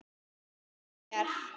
Unn mér!